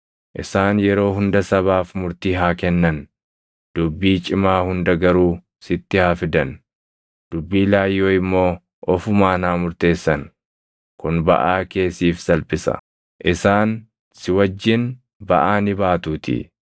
Isaan yeroo hunda sabaaf murtii haa kennan; dubbii cimaa hunda garuu sitti haa fidan; dubbii laayyoo immoo ofumaan haa murteessan. Kun baʼaa kee siif salphisa; isaan si wajjin baʼaa ni baatuutii.